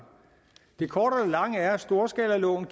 det korte af det lange er at storskalaloven